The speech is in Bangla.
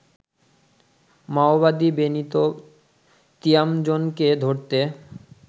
মাওবাদী বেনিতো তিয়ামজোনকে ধরতে